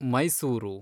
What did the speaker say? Mysuru